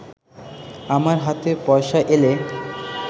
আমার হাতে পয়সা এলে